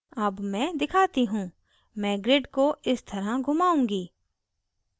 अब मैं दिखाती हूँ मैं grid को इस तरह घुमाऊँगी